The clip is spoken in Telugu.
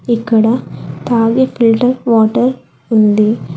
ఇక్కడ తాగే ఫిల్టర్ వాటర్ ఉంది.